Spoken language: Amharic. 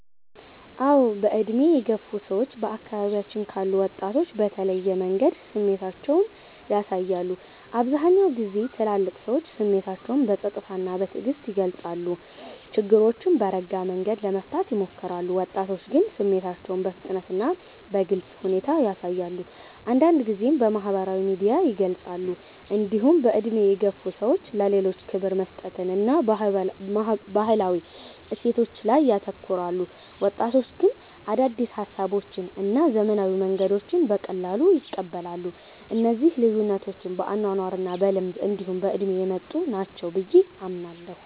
አዎ። በዕድሜ የገፉ ሰዎች በአካባቢያችን ካሉ ወጣቶች በተለየ መንገድ ስሜታቸውን ያሳያሉ። አብዛኛውን ጊዜ ትልልቅ ሰዎች ስሜታቸውን በጸጥታ እና በትዕግስት ይገልጻሉ፣ ችግሮችንም በረጋ መንገድ ለመፍታት ይሞክራሉ። ወጣቶች ግን ስሜታቸውን በፍጥነት እና በግልጽ ሁኔታ ያሳያሉ፣ አንዳንድ ጊዜም በማህበራዊ ሚዲያ ይገልጻሉ። እንዲሁም በዕድሜ የገፉ ሰዎች ለሌሎች ክብር መስጠትን እና ባህላዊ እሴቶችን ላይ ያተኩራሉ። ወጣቶች ግን አዳዲስ ሀሳቦችን እና ዘመናዊ መንገዶችን በቀላሉ ይቀበላሉ። እነዚህ ልዩነቶች በአኗኗር እና በልምድ እንዲሁ በእድሜ የመጡ ናቸው ብየ አምናለሁ።